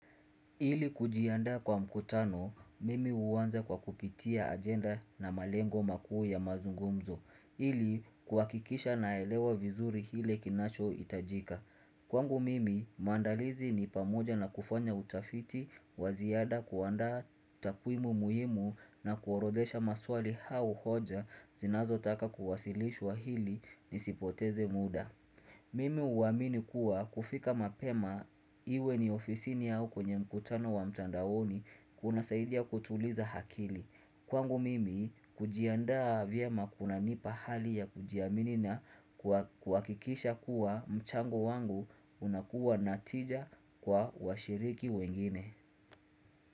Ili kujiandaa kwa mkutano, mimi huanza kwa kupitia ajenda na malengo makuu ya mazungumzo ili kuhakikisha naelewa vizuri kile kinachohitajika Kwangu mimi, maandalizi ni pamoja na kufanya utafiti wa ziada kuandaa takwimu muhimu na kuorodhesha maswali au hoja zinazotaka kuwasilishwa ili nisipoteze muda Mimi huamini kuwa kufika mapema iwe ni ofisini au kwenye mkutano wa mtandaoni kunasaidia kutuliza akili. Kwangu mimi kujiandaa vyema kunanipa hali ya kujiamini na kuhakikisha kuwa mchango wangu unakuwa na tija kwa washiriki wengine.